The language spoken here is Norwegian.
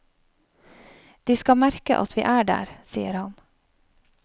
De skal merke at vi er der, sier han.